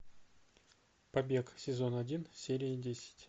побег сезон один серия десять